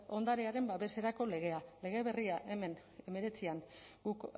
ondarearen babeserako legea lege berria hemen hemeretzian guk